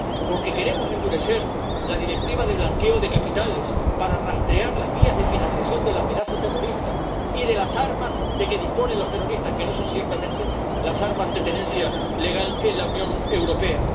Porque queremos endurecer la Directiva relativa al blanqueo de capitales para rastrear las vías de financiación de la amenaza terrorista y de las armas de que disponen los terroristas, que no son ciertamente las armas de tenencia legal en la Unión Europea.